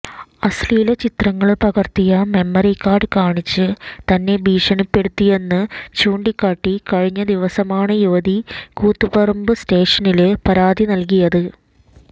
അശ്ലീലചിത്രങ്ങള് പകര്ത്തിയ memory card കാണിച്ച് തന്നെ ഭീഷണിപ്പെടുത്തിയന്ന് ചൂണ്ടിക്കാട്ടി കഴിഞ്ഞ ദിവസമാണ് യുവതി കൂത്തുപറമ്പ് സ്റ്റേഷനില് പരാതി നല്കിയത്